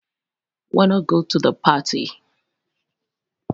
wanna go to the party